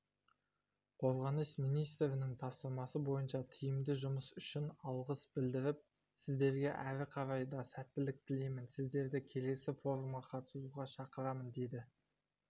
қорғаныс министрінің тапсырмасы бойынша тиімді жұмыс үшін алғыс білдіріп сіздерге әрі қарай да сәттілік тілеймін сіздерді келесі форумға қатысуға шақырамын деді